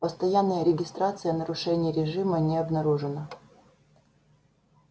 постоянная регистрация нарушений режима не обнаружено